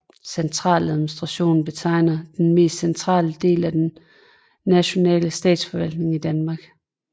Centraladministrationen betegner den mest centrale del af den nationale statsforvaltning i Danmark